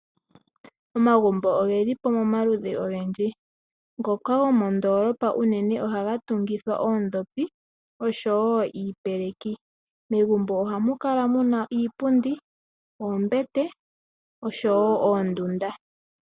Omagumbo ogelipo pomaludhi ogendji, ngoka go mondolopa ohaga tugithwa oondhopi nosho woo iipeleki megumbo ohamukala iipundi, oombete nosho woo oondunda.